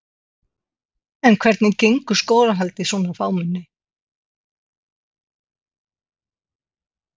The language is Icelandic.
En hvað segja Garðbæingar, vilja þeir taka við Álftnesingum?